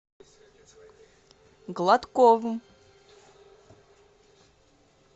гладковым